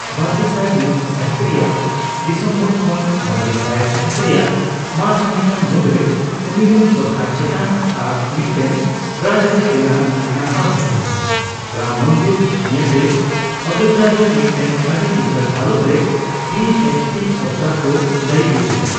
ᱵᱟᱨᱜᱮᱥᱟᱭ ᱢᱤᱛ ᱥᱟᱹᱦᱤᱛ ᱨᱮᱭᱟᱜ ᱰᱤᱥᱮᱢᱵᱚᱨ ᱠᱷᱚᱱ ᱵᱟᱨᱜᱮᱥᱟᱭ ᱥᱟᱹᱦᱤᱛ ᱨᱮᱭᱟᱜ ᱢᱟᱨᱪ ᱢᱟᱹᱱᱦᱟᱹ ᱢᱩᱫ ᱨᱮ ᱩᱱᱤᱨᱮᱱ ᱥᱚᱨᱠᱟᱨ ᱪᱮᱛᱟᱱ ᱟᱨ ᱢᱤᱛᱴᱮᱱ ᱨᱟᱡᱟᱹᱨᱤ ᱨᱮᱱᱟᱜ ᱱᱟᱥᱟᱣ ᱦᱮᱪ ᱞᱮᱱᱟᱺ ᱨᱟᱢ ᱢᱚᱱᱫᱤᱨ ᱱᱤᱭᱟᱹᱛᱮ ᱚᱡᱚᱫᱷᱟ ᱨᱮ ᱢᱤᱛᱴᱮᱱ ᱟᱹᱰᱤ ᱞᱤᱪᱟᱹᱲ ᱦᱟᱞᱚᱛ ᱨᱮ ᱵᱷᱤᱹ ᱮᱭᱤᱪᱹ ᱯᱤ ᱥᱚᱨᱠᱟᱨ ᱠᱚ ᱫᱟᱹᱭᱤ ᱞᱤᱫᱤᱭᱟᱹ